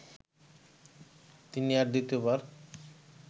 তিনি আর দ্বিতীয়বার